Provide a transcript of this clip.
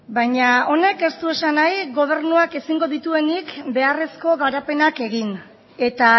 baina honek ez du esan nahi gobernuak ezingo dituenik beharrezko garapenak egin eta